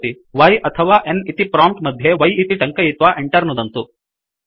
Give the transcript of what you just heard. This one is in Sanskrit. Y अथवा N इति प्रोम्प्ट मध्ये y इति टङ्कयित्वा Enter नुदन्तु